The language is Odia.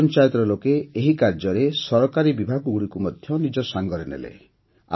ଗ୍ରାମପଞ୍ଚାୟତର ଲୋକେ ଏହି କାର୍ଯ୍ୟରେ ସରକାରୀ ବିଭାଗଗୁଡ଼ିକୁ ମଧ୍ୟ ନିଜ ସାଂଗରେ ନେଲେ